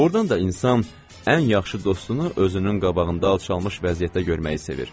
Doğrudan da insan ən yaxşı dostunu özünün qabağında alçalmış vəziyyətdə görməyi sevir.